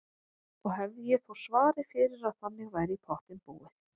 Og hefði ég þó svarið fyrir að þannig væri í pottinn búið.